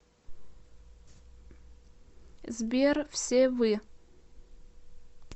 сбер все вы